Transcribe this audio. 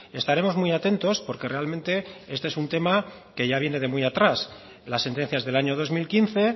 estaremos muy atentos porque realmente este es un tema que ya viene de muy atrás las sentencias del año dos mil quince